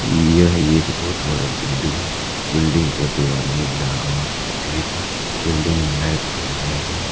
यह एक बहुत बड़ा बिल्डिंग है बिल्डिंग का दीवार नीला और सफेद है बिल्डिंग में लाइट भी लगाया गया है।